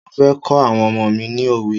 Mo fẹ́ kọ́ àwọn ọmọ mi ni òwe.